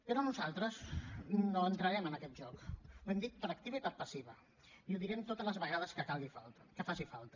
però nosaltres no entrarem en aquest joc ho hem dit per activa i per passiva i ho direm totes les vegades que faci falta